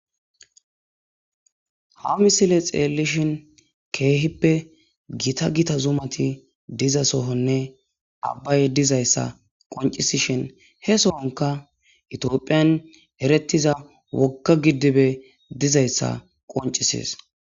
ha misile xeellishin keehippe gita gita zumati diza sohonne abbay dizayssa qoncisishin he sohonka itiophiyan erettiza wokka giddibe dizayssa qoncisees